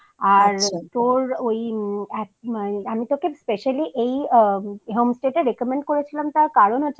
আর তোর ওই মম এক মম আমি তোকে specially